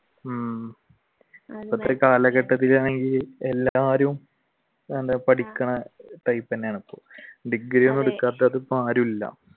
ഉം എല്ലാവരും പഠിക്കണ type തന്നെയാണ് ഡിഗ്രി എടുക്കാത്തത് ഇപ്പൊ ആരും ഇല്ല.